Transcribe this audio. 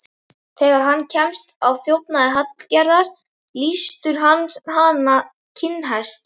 Þegar hann kemst að þjófnaði Hallgerðar, lýstur hann hana kinnhest.